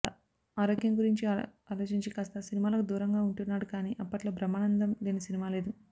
ఆరోగ్యం గురించి అలోచించి కాస్త సినిమాలకు దూరంగా ఉంటున్నాడు కానీ అప్పట్లో బ్రహ్మానందం లేని సినిమా లేదు